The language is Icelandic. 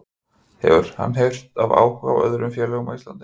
Hefur hann heyrt af áhuga frá öðrum félögum á Íslandi?